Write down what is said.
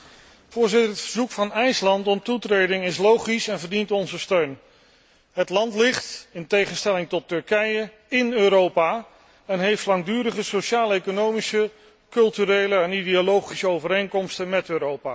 Voorzitter, het verzoek van IJsland om toetreding is logisch en verdient onze steun. Het land ligt, in tegenstelling tot Turkije, in Europa en heeft langdurige sociaal economische, culturele en ideologische overeenkomsten met Europa.